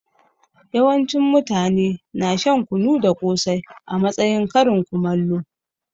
Yawancin mutane na shan kunu da kosai a matsayin karin kumallo.